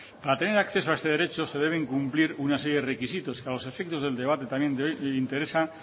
para tener acceso a este derecho se deben cumplir una serie de requisitos que a los efectos del debate también de hoy nos interesa